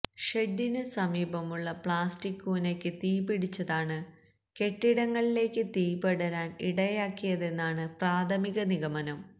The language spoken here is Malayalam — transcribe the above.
ഷെഡിന് സമീപമുള്ള പ്ലാസ്റ്റിക് കൂനക്ക് തീപിടിച്ചതാണ് കെട്ടിടങ്ങളിലേക്ക് തീപടരാന് ഇടയാക്കിയതെന്നാണ് പ്രാഥമിക നിഗമനം